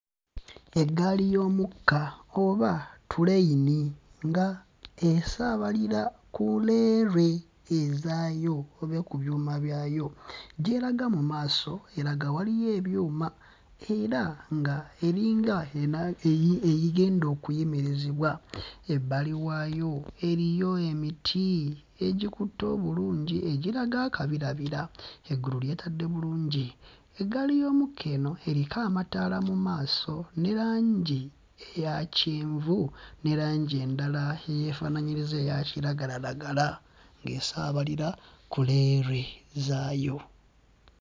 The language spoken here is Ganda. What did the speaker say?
Eggaali y'omukka oba tuleyini nga esaabalira ku leerwe ezaayo oba ku byuma byayo. Gy'eraga mu maaso eraga waliyo ebyuma era ng'eringa anaa... eyi... egenda okuyimirizibwa. Ebbali waayo eriyo emiti egikutte obulungi egiraga akabirabira, eggulu lyetadde bulungi. Eggaali y'omukka eno eriko amataala mu maaso ne langi eya kyenvu ne langi endala eyeefaanaanyiriza eya kiragalalagala ng'esaabalira ku leerwe zaayo.